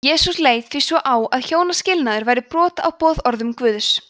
jesús leit því svo á að hjónaskilnaður væri brot á boðorðum guðs